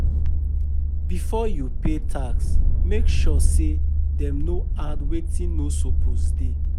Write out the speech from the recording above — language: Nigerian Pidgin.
Before you pay tax, make sure say dem no add wetin no suppose dey.